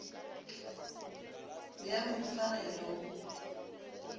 be a mo hufagela o